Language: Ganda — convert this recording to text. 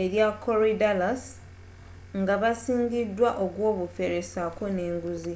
erya koryadallus nga basingiddwa ogw'obufere saako n'enguzi